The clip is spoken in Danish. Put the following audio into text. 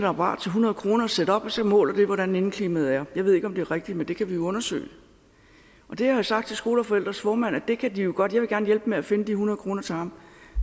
apparat til hundrede kroner og sætte op og så måler det hvordan indeklimaet er jeg ved ikke om det er rigtigt men det kan vi jo undersøge jeg har sagt til skole og forældres formand at det kan de jo godt jeg vil gerne hjælpe med at finde de hundrede kroner til ham